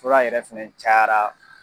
Fura yɛrɛ fɛnɛ cayara